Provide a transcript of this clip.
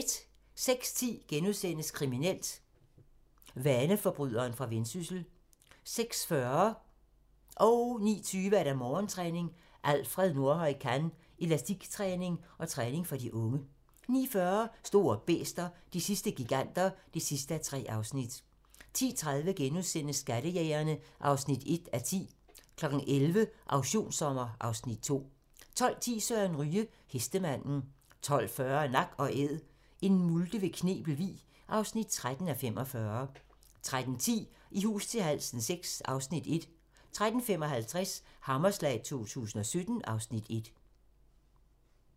06:10: Kriminelt: Vaneforbryderen fra Vendsyssel * 06:40: Morgentræning: Alfred Nordhøj Kann - elastiktræning og træning for de unge 09:20: Morgentræning: Alfred Nordhøj Kann - elastiktræning og træning for de unge 09:40: Store bæster - de sidste giganter (3:3) 10:30: Skattejægerne (1:10)* 11:00: Auktionssommer (Afs. 2) 12:10: Søren Ryge: Hestemanden 12:40: Nak & Æd - en multe ved Knebel Vig (13:45) 13:10: I hus til halsen VI (Afs. 1) 13:55: Hammerslag 2017 (Afs. 1)